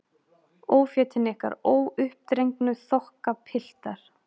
Ófétin ykkar, óuppdregnu þokkapiltar.